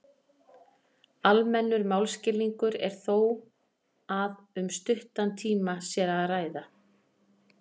almennur málskilningur er þó að um stuttan tíma sé að ræða